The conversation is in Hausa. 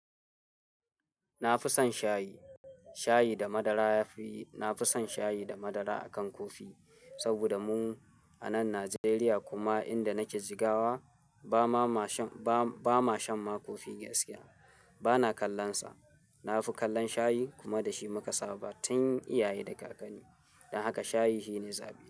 Na fi son shayi. Shayi da madara. Na fi son shayi da madara akan kofi saboda mu a nan Najeriya kuma inda nake jigawa ba ma shan ma kofi gaskiya. Bana kallon sa. Na fi kallon shayi kuma da shi muka saba tun iyaye da kakanni. Dan haka shayi shine zaɓi.